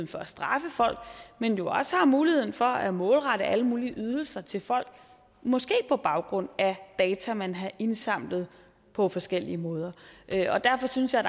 for at straffe folk men jo også har muligheden for at målrette alle mulige ydelser til folk måske på baggrund af data man har indsamlet på forskellige måder derfor synes jeg